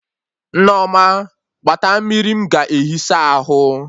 Nneoma gbata mmiri m ga ehi saa ahụ